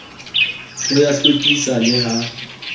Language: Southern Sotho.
ho ya hlwekisa le ha